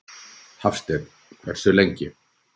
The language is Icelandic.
Hafsteinn: Hversu lengi?